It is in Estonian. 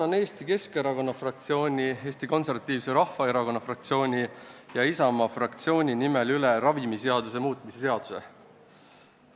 Annan Eesti Keskerakonna fraktsiooni, Eesti Konservatiivse Rahvaerakonna fraktsiooni ja Isamaa fraktsiooni nimel üle ravimiseaduse muutmise seaduse eelnõu.